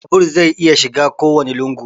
Babur zai iya shiga kowanne lungu